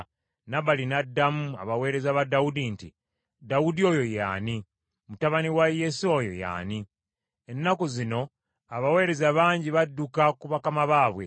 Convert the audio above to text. Nabali n’addamu abaweereza ba Dawudi nti, “Dawudi oyo ye ani? Mutabani wa Yese oyo ye ani? Ennaku zino abaweereza bangi badduka ku bakama baabwe.